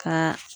Ka